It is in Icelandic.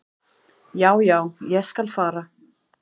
"""Já, já, ég skal fara."""